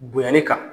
Bonyani kan